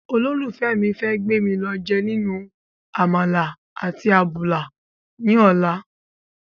olófùfẹ́ mi fẹ́ gbémi lọ jẹ ninu àmàlà àti àbùlà ní ọ̀la